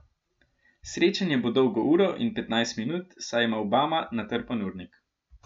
Srečanje bo dolgo uro in petnajst minut, saj ima Obama natrpan urnik.